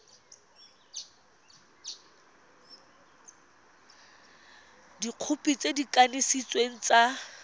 dikhopi tse di kanisitsweng tsa